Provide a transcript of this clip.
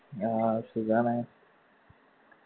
ആ സുഖാണ്